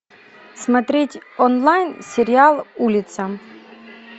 смотреть онлайн сериал улица